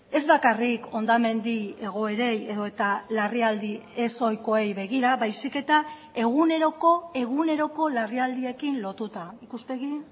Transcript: ez bakarrik hondamendi egoerei edota larrialdi ez ohikoei begira baizik eta eguneroko eguneroko larrialdiekin lotuta ikuspegi